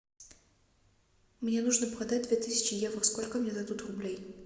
мне нужно продать две тысячи евро сколько мне дадут рублей